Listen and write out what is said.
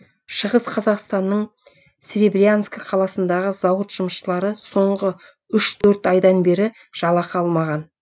шығыс қазақстанның серебрянск қаласындағы зауыт жұмысшылары соңғы үш төрт айдан бері жалақы алмаған